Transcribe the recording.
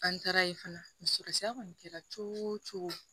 An taara ye fana sira kɔni kɛra cogo o cogo